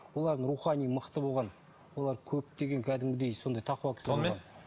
олардың рухани мықты болған олар көптеген кәдімгідей сондай тақуа кісі болған